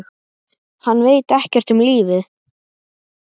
Hann veit ekkert um lífið.